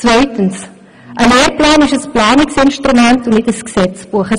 Zweitens ist ein Lehrplan ein Planungsinstrument und kein Gesetzbuch.